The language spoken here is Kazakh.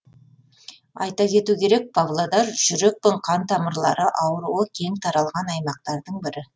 айта кету керек павлодар жүрек пен қан тамырлары ауруы кең таралған аймақтардың бірі